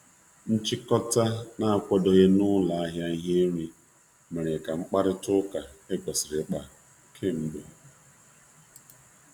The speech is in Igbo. Nchikota um na-akwadoghị na ụlọ ahịa ihe nri mere ka mkparịta ụka ekwesiri um ikpa k'emgbe.